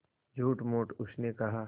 झूठमूठ उसने कहा